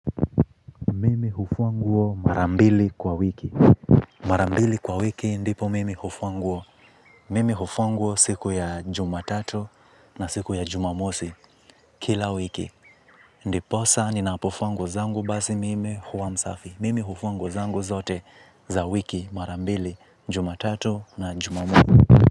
Mimi hufua nguo marambili kwa wiki. Marambili kwa wiki ndipo mimi hufua nguo. Mimi hufua nguo siku ya jumatatu na siku ya jumamosi kila wiki. Ndiposa ninapofua nguo zangu basi mimi huwa msafi. Mimi hufua nguo zangu zote za wiki marambili jumatatu na jumamosi.